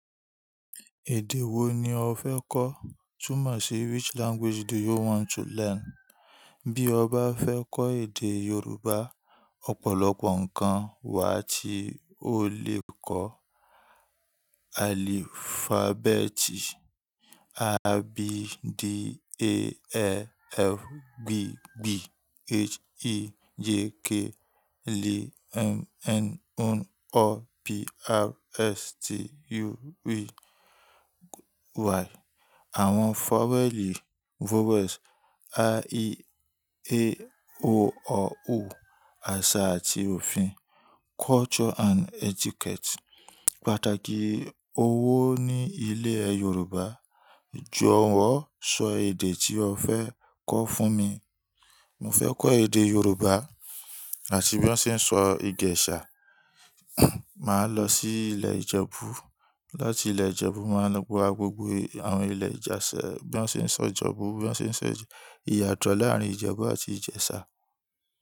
Èdè wo ni ọ fẹ́ kọ́? Tún mo sì which language do you want to learn? Bí ọ bá fẹ́ kọ́ èdè Yorùbá, ọ̀pọ̀lọpọ̀ ǹkan wà tí o lè kọ́. Alphabeti A, B, D, E, E, F, G, GB, H, I, J, K, L, M, N, O, O, P, R, S, T, U, V, Y. Àwọn faweeli vowels A, E, E, I, O, O, ọ̀ó, àṣà àti òfin culture and etiquette. Pàtàkì owó ní ilẹ̀ Yorùbá. Jọ̀wọ́ sọ èdè tí o fẹ́ kọ́ fún mi. Mo fẹ́ kọ́ èdè Yorùbá àti bí wọ́n ṣe ń sọ Ijẹ̀ṣá. Màá lọ sí ilé Ijebu. Lọ́ti ilé Ijebu, màá lọ́ gbogbo àwọn ilẹ̀ Ijesa, bí wọ́n ṣe ń sọ Ijebu, bí wọ́n ṣe ń sọ Ijesa. Iyatọ̀ láàárín Ijebu àti Ìjẹ̀ṣà.